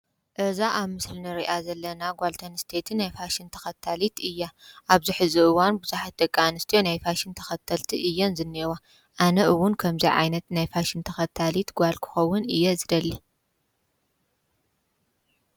አዛ ኣብ ምስሊ ንሪኣ ዘለና ጓልተንስተይቲ ናይ ፋሽን ተኸታሊት እያ፡፡ ኣብዝሕዚ እዋን ብዙሕት ደቂ ኣንስትዮ ናይ ፋሽን ተኸተልቲ እየን ዝኒሄዋ፡፡ ኣነ ውን ከምዙይ ዓይነት ናይ ፋሽን ተኸታሊት ጓል ክኸውን እየ ዝደሊ፡፡